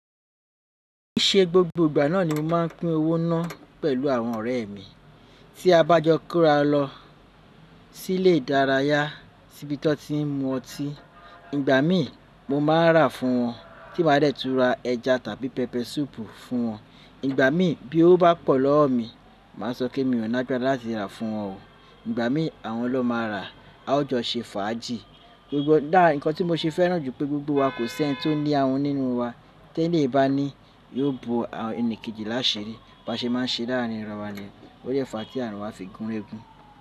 Kì í ṣe gbogbo ìgbà náà ni mo máa ń pín owó náà pẹ̀lú àwọn ọ̀rẹ́ mi. Tí a bá jọ kura lọ sí ilé ìdárayá si bí tọ́ ti ń mu ọtí, ìgbà mí mo máa ń rà fún wọn, tí ma a dè tún ra ẹja tàbí pẹpẹ súùpù fún wọn. Ìgbà mí bí owó bá pọ̀ lọ́wọ́ mi, màá sọ pé mi ò ní agbára láti rà fún wọn o. Ìgbà mí àwọn lọ máa rà, a ó jọ se fàájì. Ǹkan tí mo ṣe fẹ́ràn jù pé gbogbo wa kò sí ẹniti ó ní ahun nínú wa, tí èléyii bá ní yóò bo ẹnìkejì láṣirí. Bí a ṣe máa ń ṣe láàrín ara wa nìyẹn ó dẹ̀ fà tí àrin wa fi gúnrégún.